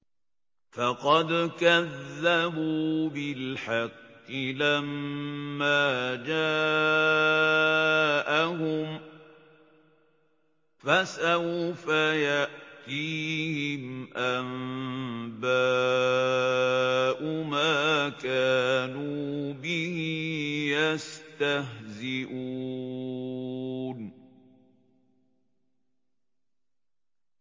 فَقَدْ كَذَّبُوا بِالْحَقِّ لَمَّا جَاءَهُمْ ۖ فَسَوْفَ يَأْتِيهِمْ أَنبَاءُ مَا كَانُوا بِهِ يَسْتَهْزِئُونَ